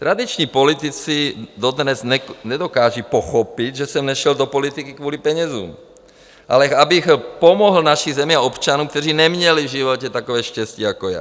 Tradiční politici dodnes nedokážou pochopit, že jsem nešel do politiky kvůli penězům, ale abych pomohl naší zemi a občanům, kteří neměli v životě takové štěstí jako já.